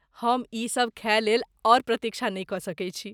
हम ई सभ खाय लेल आओर प्रतीक्षा नहि कऽ सकैत छी।